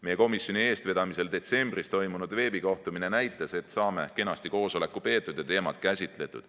Meie komisjoni eestvedamisel detsembris toimunud veebikohtumine näitas, et saame koosoleku kenasti peetud ja teemad käsitletud.